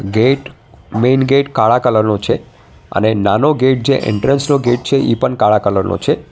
Gate main gate કાળા કલરનો છે અને નાનો ગેટ જે એન્ટ્રન્સ નો ગેટ છે એ પણ કાળા કલર નો છે.